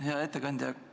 Hea ettekandja!